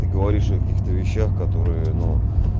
ты говоришь о каких-то вещах которые ну